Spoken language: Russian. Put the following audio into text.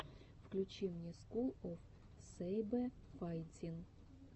включи мне скул оф сэйбэфайтин